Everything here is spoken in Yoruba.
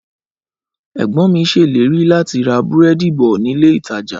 Ẹgbọn mi ṣèlérí láti ra búrẹ́dì bọ nílé ìtajà